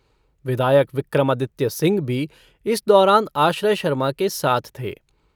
विधायक विक्रमादित्य सिंह भी इस दौरान आश्रय शर्मा के साथ थे।